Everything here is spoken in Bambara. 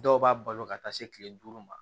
Dɔw b'a balo ka taa se kile duuru ma